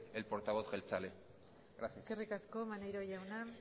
el portavoz jeltzale gracias eskerrik asko maneiro jauna